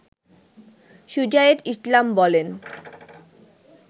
সুজায়েত ইসলাম বলেন